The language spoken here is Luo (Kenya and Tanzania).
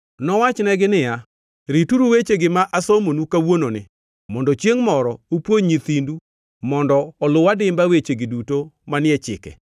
nowachonegi niya, “Rituru wechegi ma asomonu kawuononi mondo chiengʼ moro upuonj nyithindu mondo oluw adimba wechegi duto manie chike.